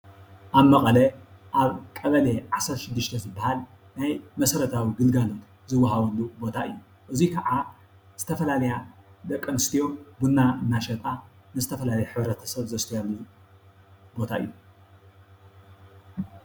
ኣብ መቐለ ኣብ ቀበሌ ዓሰርተ ሽዱሽተ ዝባሃል ናይ መሰረታዊ ግልጋሎት ዝዋሃበሉ ቦታ እዩ። እዚ ካዓ ዝተፈላለያ ደቂ ኣንስትዮ ቡና እንዳሸጣ ንዝተፈላለዩ ሕብረተሰብ ዘስትያሉ ቦታ እዩ።